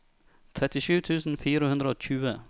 trettisju tusen fire hundre og tjue